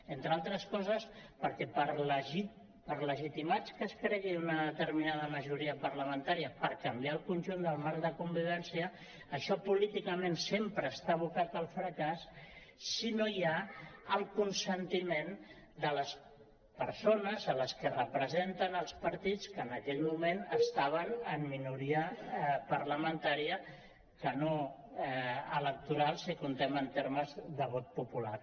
entre altres coses perquè per legitimada que es cregui una determinada majoria parlamentària per canviar el conjunt del marc de convivència això políticament sempre està abocat al fracàs si no hi ha el consentiment de les persones a les que representen els partits que en aquell moment estaven en minoria parlamentària que no electoral si compten en termes de vot popular